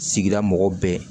Sigida mɔgɔw bɛɛ